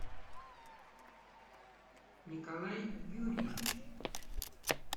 николай юрьевич